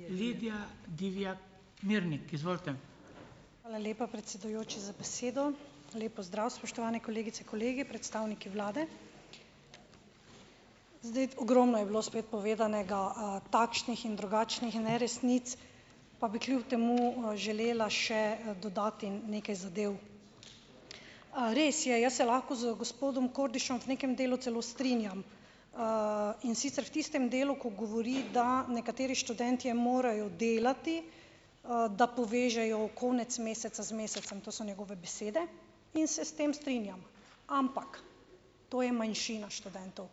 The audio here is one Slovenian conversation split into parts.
Hvala lepa, predsedujoči za besedo. Lep pozdrav, spoštovane kolegice, kolegi, predstavniki vlade. Zdaj, ogromno je bilo spet povedanega, takšnih in drugačnih neresnic, pa bi kljub temu, želela še, dodati nekaj zadev. res je, jaz se lahko z gospodom Kordišem v nekem delu celo strinjam, in sicer v tistem delu, ko govori , da nekateri študentje morajo delati, da povežejo konec meseca z mesecem, to so njegove besede in se s tem strinjam. Ampak, to je manjšina študentov.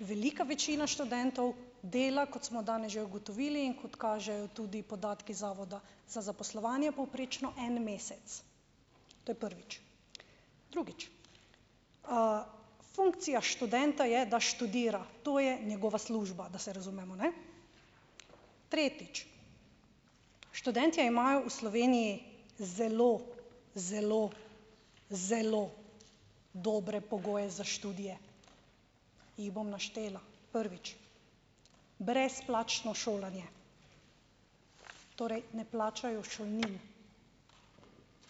Velika večina študentov dela, kot smo danes že ugotovili in kot kažejo tudi podatki Zavoda za zaposlovanje, povprečno en mesec. To je prvič. Drugič. funkcija študenta je, da študira. To je njegova služba, da se razumemo, ne. Tretjič. Študentje imajo v Sloveniji zelo, zelo, zelo dobre pogoje za študije. Jih bom naštela. Prvič. Brezplačno šolanje. Torej, ne plačajo šolnine.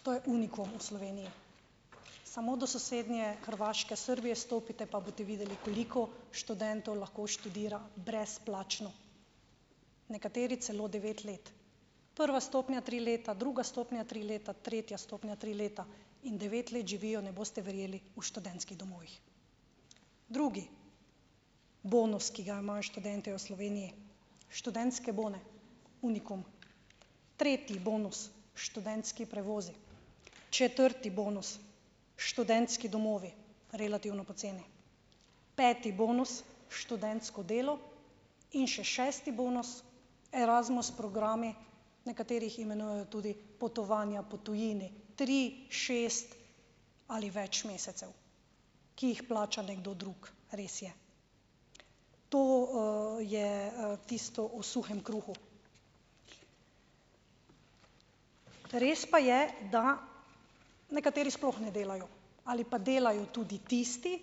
To je unikum v Sloveniji . Samo do sosednje Hrvaške, Srbije stopite, pa boste videli, koliko študentov lahko študira brezplačno. Nekateri celo devet let. Prva stopnja tri leta, druga stopnja tri leta, tretja stopnja tri leta. In devet let živijo, ne boste verjeli, v študentskih domovih. Drugi bonus, ki ga imajo študentje v Sloveniji, študentske bone. Unikum. Tretji bonus. Študentski prevozi. Četrti bonus. Študentski domovi. Relativno poceni. Peti bonus. Študentsko delo. In še šesti bonus. Erasmus programi, nekateri jih imenujejo tudi potovanja po tujini. Tri, šest ali več mesecev, ki jih plača nekdo drug. Res je. To, je, tisto o suhem kruhu. Res pa je, da nekateri sploh ne delajo. Ali pa delajo tudi tisti,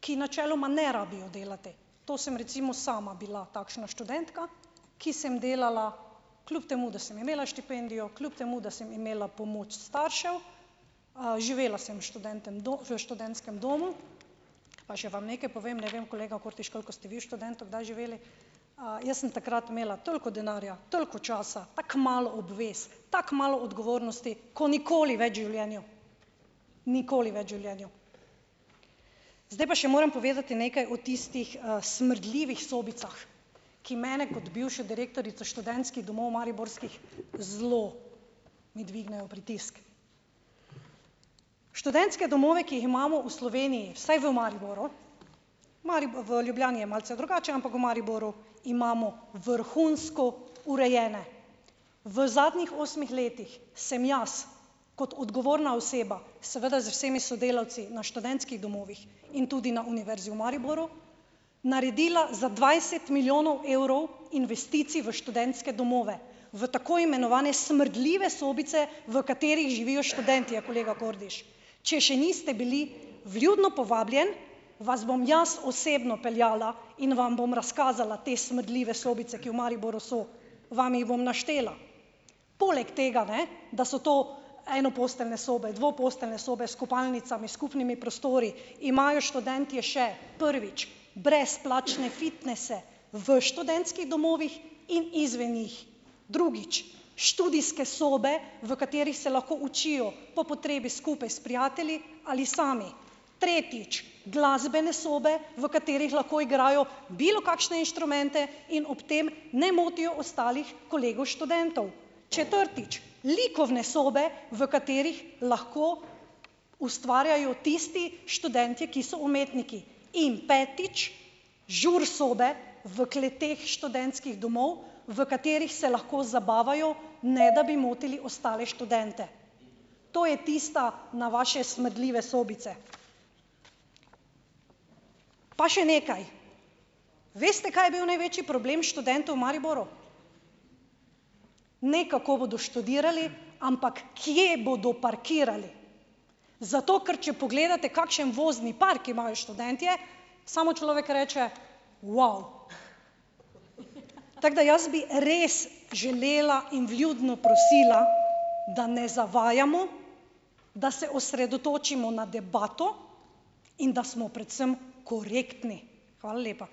ki načeloma ne rabijo delati. To sem recimo sama bila takšna študentka, ki sem delala kljub temu, da sem imela štipendijo, kljub temu, da sem imela pomoč staršev, živela sem v v študentskem domu, pa še vam nekaj povem, ne vem, kolega Kordiš, koliko ste vi v študentu kdaj živeli, jaz sem takrat imela toliko denarja, toliko časa, tako malo obvez, tako malo odgovornosti, ko nikoli več v življenju. Nikoli več življenju. Zdaj pa še morem povedati nekaj o tistih, smrdljivih sobicah, ki mene kot bivšo direktorico študentskih domov mariborskih zelo mi dvignejo pritisk. Študentske domove, ki jih imamo v Sloveniji, vsaj v Mariboru, v Ljubljani je malce drugače, ampak v Mariboru imamo vrhunsko urejene. V zadnjih osmih letih sem jaz kot odgovorna oseba, seveda z vsemi sodelavci, na študentskih domovih in tudi na Univerzi v Mariboru naredila za dvajset milijonov evrov investicij v študentske domove, v tako imenovane smrdljive sobice, v katerih živijo študentje, kolega Kordiš . Če še niste bili, vljudno povabljen, vas bom jaz osebno peljala in vam bom razkazala te smrdljive sobice, ki v Mariboru so. Vam jih bom naštela. Poleg tega, ne, da so to enoposteljne sobe, dvoposteljne sobe s kopalnicami, skupnimi prostori, imajo študentje še: prvič, brezplačne fitnese v študentskih domovih in izven njih. Drugič. Študijske sobe, v katerih se lahko učijo po potrebi skupaj s prijatelji ali sami. Tretjič. Glasbene sobe, v katerih lahko igrajo bilokakšne inštrumente in ob tem ne motijo ostalih kolegov študentov. Četrtič . Likovne sobe, v katerih lahko ustvarjajo tisti študentje, ki so umetniki. In, petič. Žur sobe v kleteh študentskih domov, v katerih se lahko zabavajo, ne da bi motili ostale študente. To je tista na vaše smrdljive sobice. Pa še nekaj. Veste, kaj je bil največji problem študentov v Mariboru? Ne, kako bodo študirali, ampak kje bodo parkirali. Zato ker če pogledate, kakšen vozni park imajo študentje, samo človek reče: "Vav." Tako da jaz bi res želela in vljudno prosila , da ne zavajamo , da se osredotočimo na debato in da smo predvsem korektni. Hvala lepa.